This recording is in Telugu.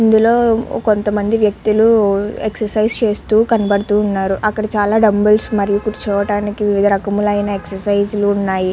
ఇందులో కొంతమంది వ్యక్తులు ఎక్సైజ్ చేస్తూ కనబడుతూ ఉన్నారు. అక్కడ చాలా డంబుల్స్ మీద కూర్చోవడానికి రకములైన ఎక్సర్సైజ్ లు ఉన్నాయి.